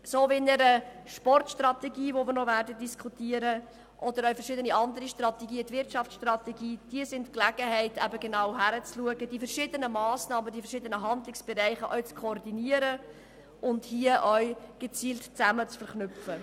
So wie bei der Sportstrategie, die wir noch diskutieren werden, oder bei anderen Strategien wie der Wirtschaftsstrategie, bieten diese Strategien die Gelegenheit, genau hinzusehen, die verschiedenen Massnahmen und die verschiedenen Handlungsbereiche auch zu koordinieren und gezielt zusammen zu verknüpfen.